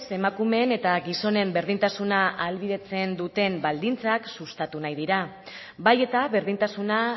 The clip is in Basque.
emakumeen eta gizonen berdintasuna ahalbidetzen duten baldintzak sustatu nahi dira bai eta berdintasuna